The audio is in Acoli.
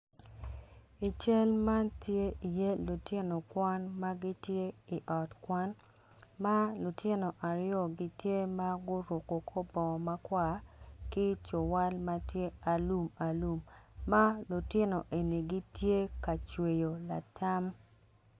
I cal man tye iye lutino kan ma gitye i ot kwan ma lutino aryo gitye ka guruko kor bongo ma kwar ki cuwal ma tye alum alum ma lutino eni gitye ka cweyo latam.